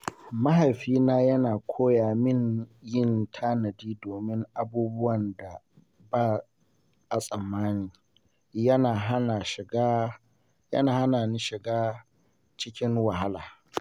Mahaifina ya koya min yin tanadi domin abubuwan da ba a tsammani yana hana shiga cikin wahala.